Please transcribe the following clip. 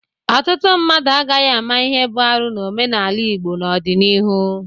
Ọtụtụ mmadụ agaghị ama ihe bụ arụ n'omenala Igbo n'ọdịnihu.